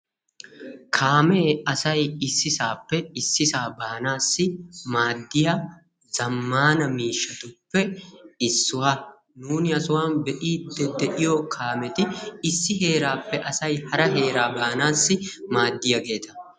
kaamee asay issisappe harasaa baanassi maaddiyaa zammaana miishshatuppe issuwaa nuuni ha sohan be'iiddi de'iyoo kaameti issi heeraappe asay hara heeraa baanassi maaddiyageeta.